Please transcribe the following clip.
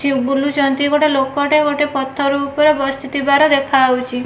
କିଏ ବୁଲୁଚନ୍ତି ଗୋଟେ ଲୋକଟେ ଗୋଟେ ପଥର ଉପରେ ବସିଥିବାର ଦେଖାହୋଉଚି।